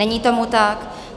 Není tomu tak.